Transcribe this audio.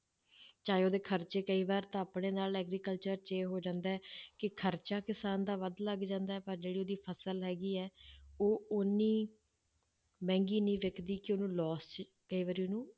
ਚਾਹੇ ਉਹਦੇ ਖ਼ਰਚੇ ਕਈ ਵਾਰ ਤਾਂ ਆਪਣੇ ਨਾਲ agriculture 'ਚ ਇਹ ਹੋ ਜਾਂਦਾ ਹੈ ਕਿ ਖ਼ਰਚਾ ਕਿਸਾਨ ਦਾ ਵੱਧ ਲੱਗ ਜਾਂਦਾ ਹੈ ਪਰ ਜਿਹੜੀ ਉਹਦੀ ਫਸਲ ਹੈਗੀ ਹੈ ਉਹ ਓਨੀ ਮਹਿੰਗੀ ਨੀ ਵਿੱਕਦੀ ਕਿ ਉਹਨੂੰ loss 'ਚ ਕਈ ਵਾਰੀ ਉਹਨੂੰ